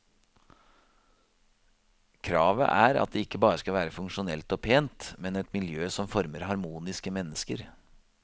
Kravet er at det ikke bare skal være funksjonelt og pent, men et miljø som former harmoniske mennesker.